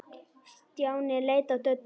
Stjáni leit á Döddu.